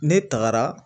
Ne tagara